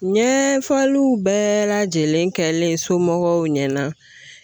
Ɲɛ faliw bɛɛ lajɛlen kɛlen somɔgɔw ɲɛna